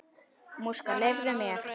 Leyfðu mér!